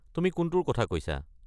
তুমি কোনটোৰ কথা কৈছা?